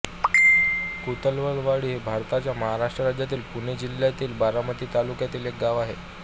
कुतवालवाडी हे भारताच्या महाराष्ट्र राज्यातील पुणे जिल्ह्यातील बारामती तालुक्यातील एक गाव आहे